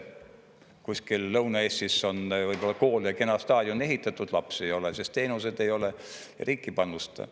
Kuskil Lõuna-Eestis on võib-olla kool ja kena staadion ehitatud, lapsi ei ole, sest teenuseid ei ole, riik ei panusta.